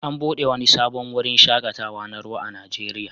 An buɗe wani sabon wurin shaƙatawa na ruwa a Najeriya